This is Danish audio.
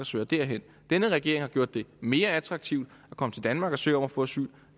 søger derhen denne regering har gjort det mere attraktivt at komme til danmark og søge om at få asyl og